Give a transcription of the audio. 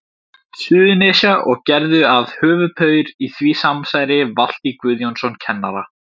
Suðurnesja, og gerðu að höfuðpaur í því samsæri Valtý Guðjónsson kennara.